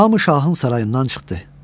Hamı şahın sarayından çıxdı.